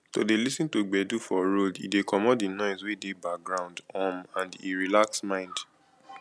to de lis ten to gbedu for road e de commot di noise wey de background um and e relax mind